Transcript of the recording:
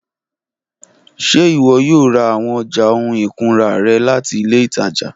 Ṣe iwọ yoo ra awọn ọja ohun ikunra rẹ lati ile itaja?